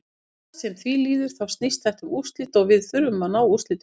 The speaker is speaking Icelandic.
Hvað sem því líður þá snýst þetta um úrslit og við þurfum að ná úrslitum.